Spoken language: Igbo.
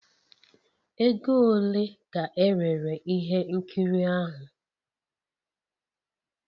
Ego ole ka erere ihe nkiri ahụ?